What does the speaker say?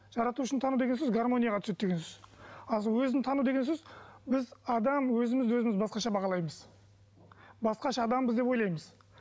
жаратушыны тану деген сөз гармонияға түседі деген сөз ал өзін тану деген сөз біз адам өзімізді өзіміз басқаша бағалаймыз басқаша адамбыз деп ойлаймыз